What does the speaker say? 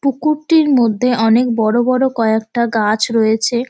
পুকুরটির মধ্যে অনেক অনেক বড় বড় কয়েকটা গাছ রয়েছে।